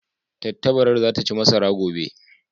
Tattabarar za ta ci masara gobe.